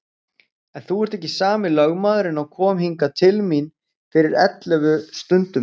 En þú ert ekki sami lögmaðurinn og kom hingað til mín fyrir ellefu stundum.